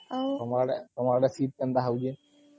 ତମ ଆଡ଼େ ଶୀତ୍ କେନ୍ତା ହଉଛି?